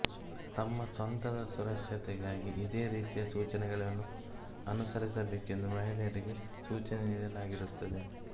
ತಮ್ಮ ಸ್ವಂತದ ಸುರಕ್ಷತೆಗಾಗಿ ಇದೇ ರೀತಿಯ ಸೂಚನೆಗಳನ್ನು ಅನುಸರಿಸಬೇಕೆಂದು ಮಹಿಳೆಯರಿಗೆ ಸೂಚನೆ ನೀಡಲಾಗಿರುತ್ತದೆ